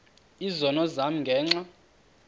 izono zam ngenxa